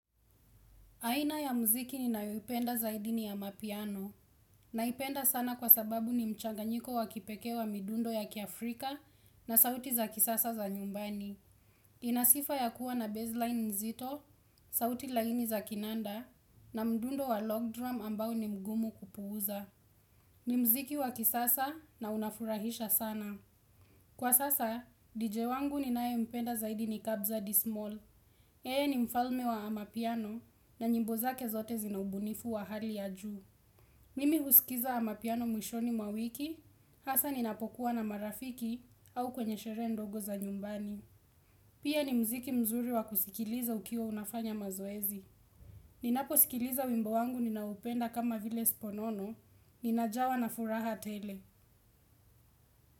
Aina ya mziki ninayoipenda zaidi ni ya mapiano. Naipenda sana kwa sababu ni mchanganyiko wa kipeke wa midundo ya kiafrika na sauti za kisasa za nyumbani. Ina sifa ya kuwa na baseline nzito, sauti laini za kinanda na mdundo wa log drum ambao ni mgumu kupuuza. Ni mziki wa kisasa na unafurahisha sana. Kwa sasa, DJ wangu ninaempenda zaidini kabza dismal. Yeye ni mfalme wa amapiano na nyimbo zake zote zinaubunifu wa hali ya juu. Mimi husikiza amapiano mwishoni mawiki, hasa ninapokuwa na marafiki au kwenye shere ndogo za nyumbani. Pia ni mziki mzuri wa kusikiliza ukiwa unafanya mazoezi. Ninaposikiliza wimbo wangu ninaopenda kama vile sponono, ninajawa na furaha tele.